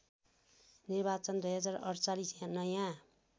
निर्वाचन २०४८ नयाँ